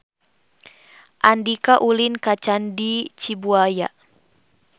Andika ulin ka Candi Cibuaya